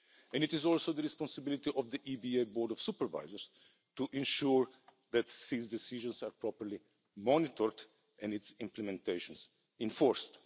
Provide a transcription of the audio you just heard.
It is also the responsibility of the EBA Board of Supervisors to ensure that these decisions are properly monitored and their implementation enforced.